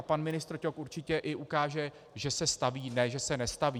A pan ministr Ťok určitě i ukáže, že se staví, ne že se nestaví.